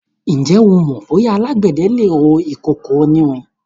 Ǹjẹ́ o mọ bóyá alágbẹ̀dẹ le rọ ìkòkò onírin?